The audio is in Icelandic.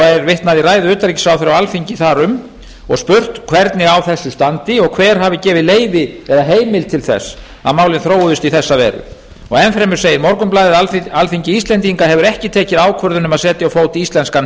vitnað í ræðu utanríkisráðherra á alþingi þar um og spurt hvernig á þessu standi og hver hafi gefið leyfi eða heimild til þess að málin þróuðust í þessa veru enn fremur segir morgunblaðið að alþingi íslendinga hafi ekki tekið ákvörðun um að setja á fót íslenskan